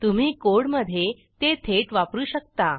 तुम्ही कोडमधे ते थेट वापरू शकता